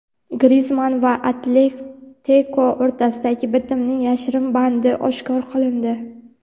Grizmann va "Atletiko" o‘rtasidagi bitimning yashirin bandi oshkor qilindi.